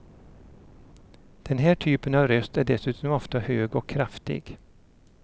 Den här typen av röst är dessutom ofta hög och kraftig.